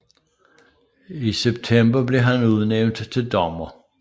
I september blev han udnævnt til dommer